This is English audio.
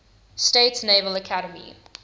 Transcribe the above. states naval academy